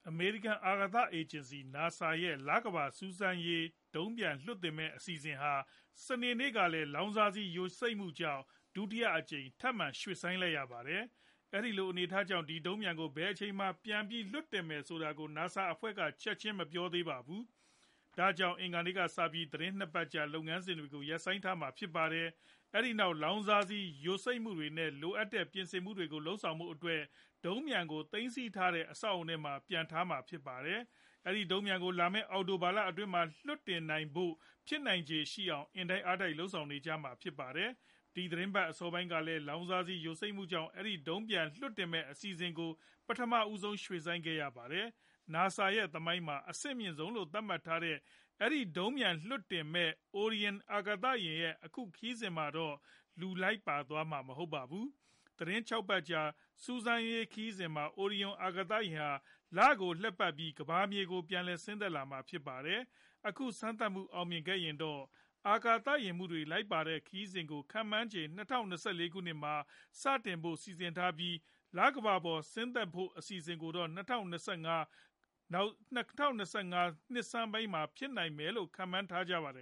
အမေရိကန် အာကာသ အေဂျင်စီ NASA ရဲ့ လကမ္ဘာ စူးစမ်းရေး ဒုံးပျံလွှတ်တင်မဲ့ အစီအစဉ်ဟာ စနေနေ့က လောင်စာဆီ ယိုစိမ့်မှုကြောင့် ဒုတိယအကြိမ် ထပ်မံ ရွှေ့ဆိုင်းလိုက်ရပါတယ်။ အဲဒီလို အနေအထားကြောင့် ဒီဒုံးပျံကို ဘယ်အချိန်မှာ ပြန်ပြီးလွှတ်တင်မယ်ဆိုတာကို NASA အဖွဲ့က ချက်ချင်းမပြောသေးပါဘူး။ ဒါကြောင့် အင်္ဂါနေ့ကစပြီး သီတင်း ၂ ပတ်ကြာ လုပ်ငန်းစဉ်တွေကို ရပ်ဆိုင်းထားမှာဖြစ်ပါတယ်။ အဲဒီနောက် လောင်စာဆီ ယိုစိမ့်မှုတွေ နဲ့ လိုအပ်တဲ့ ပြင်ဆင်မှုတွေကို လုပ်ဆောင်ဖို့အတွက် ဒုံးပျံကို သိမ်းဆည်းထားတဲ့ အဆောက်အဦထဲမှာ ပြန်ထားမှာဖြစ်ပါတယ်။ အဲဒီ ဒုံးပျံကို လာမဲ့ အောက်တိုဘာ အတွင်းမှာ လွှတ်တင်နိုင်ဖို့ ဖြစ်နိုင်ချေရှိအောင် အားတိုက် လုပ်ဆောင်ကြမှာဖြစ်ပါတယ်။ ဒီသီတင်းပတ် အစောပိုင်းကလည်း လောင်စာယိုစိမ့်မှုကြောင့် အဲဒီ ဒုံးပျံ လွှတ်တင်မဲ့ အစီအစဉ်ကို ပထမဦးဆုံး ရွှေ့ဆိုင်းခဲ့ရပါတယ်။ NASA သမိုင်းမှာ အဆင့်အမြင့်ဆုံးလို့ သတ်မှတ်ထားတဲ အဲဒီ ဒုံးပျံနဲ့ လွှတ်တင်မယ့် Orion အာကာသယာဉ်ရဲ့ အခုခရီးစဉ်မှာတော့ လူလိုက်ပါသွားမှာ မဟုတ်ပါဘူး။ သီတင်း ၆ ပတ်လောက်ကြာ စူးစမ်းရေးခရီးစဉ်မှာ Orion အာကာသယာဉ်ဟာ လကိုလှည့်ပတ်ပြီး ကမ္ဘာမြေကို ပြန်လည်ဆင်းသက်မှာပါ။ အခုစမ်းသပ်မှု အောင်မြင်ခဲ့ရင်တော့ အာကာသယာဉ်မှူးတွေ လိုက်ပါတဲ့ ခရီးစဉ်ကို ခန့်မှန်းခြေ ၂၀၂၄ ခုနှစ်မှာ စတင်ဖို့ စီစဉ်ထားပြီး၊ လကမ္ဘာပေါ် ဆင်းသက်ဖို့ကိုတော့ ၂၀၂၅ ခုနှစ်ဆန်းပိုင်းလောက်မှာ ဖြစ်မယ်လို့ ခန့်မှန်းထားပါတယ